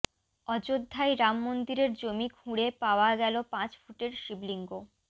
অযোধ্যায় রামমন্দিরের জমি খুঁড়ে পাওয়া গেলো পাঁচ ফুটের শিবলিঙ্গ